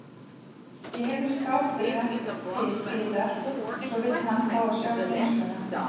Ég heyrði skáphurð rennt til hliðar og svo vildi hann fá að sjá geymsluna.